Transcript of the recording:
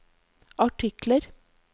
artikler